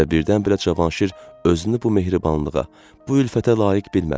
Və birdən-birə Cavanşir özünü bu mehribanlığa, bu ülfətə layiq bilmədi.